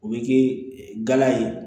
O bɛ kɛ gala ye